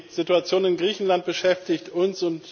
Die Situation in Griechenland beschäftigt uns.